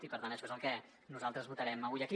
i per tant això és el que nosaltres votarem avui aquí